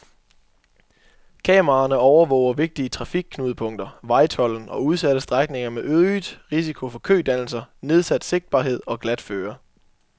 Kameraerne overvåger vigtige trafikknudepunkter, vejtolden og udsatte strækninger med øget risiko for kødannelser, nedsat sigtbarhed og glatføre.